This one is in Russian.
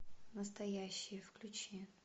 настоящие включи